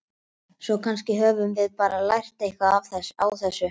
Svo kannski höfum við bara lært eitthvað á þessu.